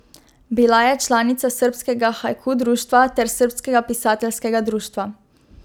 Bila je članica srbskega haiku društva ter srbskega pisateljskega društva.